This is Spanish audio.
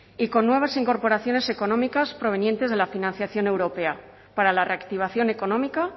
y con nuevas incorporaciones económicas provenientes de la financiación europea para la reactivación económica